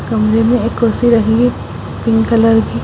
कमरे में एक कुर्सी रखी है पिंक कलर की--